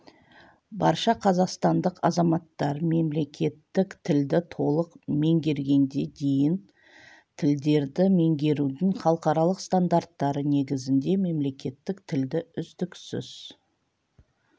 барша қазақстандық азаматтар мемлекеттік тілді толық меңгергенге дейін тілдерді меңгерудің халықаралық стандарттары негізінде мемлекеттік тілді үздіксіз